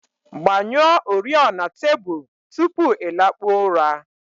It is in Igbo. Gbanyụọ oriọna tebụl tupu ị lakpuo ụra